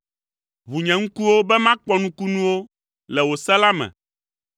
Ʋu nye ŋkuwo be makpɔ nukunuwo le wò se la me.